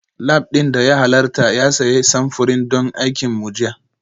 Lab ɗin da ya halarta ya sayi samfurin don aikin mu jiya